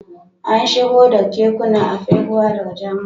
An shigo da kekunan Afegbua daga Jamus